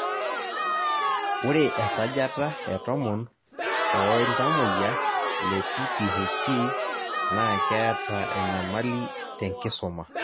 ore esajata e tomon oo ltamoyia le PPHP naa keeta enyamali tenkisuma